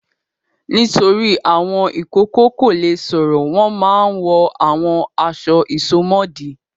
Nítorí àwọn ìkókó kò le sọ̀rọ̀ wọ́n máa ń wọ àwọn aṣọ ìsomọ́ọ̀dí.